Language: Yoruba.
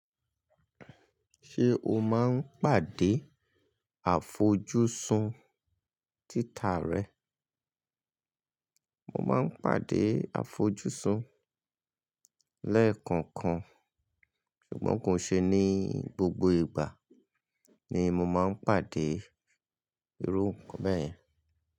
Ṣé o máa ń pàdé àfojúsùn títà rẹ? Mo máa ń pàdé àfojúsùn lẹ́ẹ̀kọ̀ọ̀kan, ṣùgbọ́n kò ṣe ní gbogbo ìgbà ni mo máa ń pàdé irú nkán bẹ́ẹ̀ yẹn.